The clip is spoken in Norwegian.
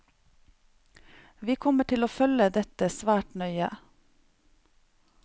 Vi kommer til å følge dette svært nøye.